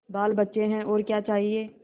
बालबच्चे हैं और क्या चाहिए